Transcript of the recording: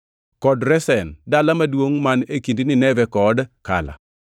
kod Resen, dala maduongʼ, man e kind Nineve kod Kala.